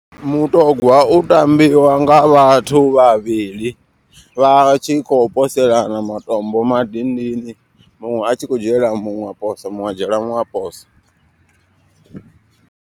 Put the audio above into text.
Mutogwa u tambiwa nga vhathu vhavhili. Vha tshi kho poselana matombo madindini muṅwe a tshi khou dzhiela muṅwe a posa muṅwe a dzhiela muṅwe a posa.